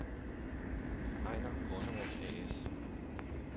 Einar Kornerup A/S